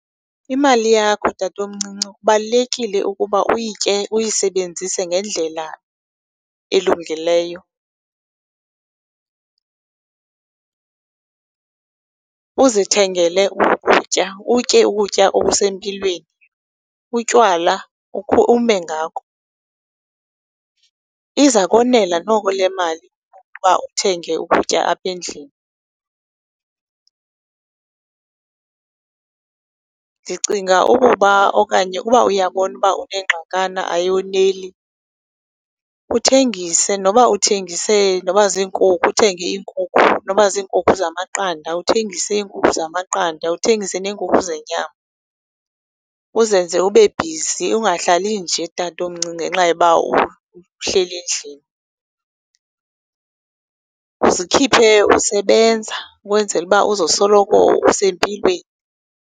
Imali yakho, tatomcinci, kubalulekile ukuba uyitye uyisebenzise ngendlela elungileyo uzithengele ukutya, utye ukutya okusempilweni, utywala ukhe ume ngako. Iza konela noko le mali ukuba uthenge ukutya apha endlini. Ndicinga ukuba okanye uba uyabona uba unengxakana ayoneli, uthengise noba uthengise noba ziinkukhu, uthenge iinkukhu, noba ziinkukhu zamaqanda, uthengise iinkukhu zamaqanda uthengise neenkukhu zenyama, uzenze ube bhizi ungahlalli nje, tatomncinci, ngenxa yoba uhleli endlini. Zikhiphe usebenza ukwenzele uba uzosoloko usempilweni.